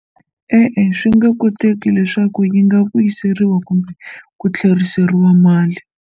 E-e, swi nge koteki leswaku yi nga vuyiseriwa kumbe ku tlheriseriwa mali.